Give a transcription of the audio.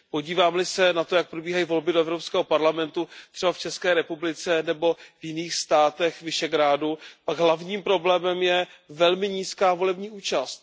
Podívám li se na to, jak probíhají volby do Evropského parlamentu třeba v České republice nebo jiných státech Visegrádu, pak hlavním problémem je velmi nízká volební účast.